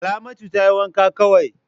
Salamatu tayi wanka kawai.